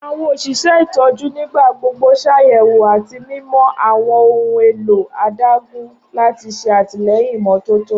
Awọn oṣiṣẹ itọju nigbagbogbo ṣayẹwo ati mimọ awọn ohun elo adagun lati ṣe atilẹyin imototo.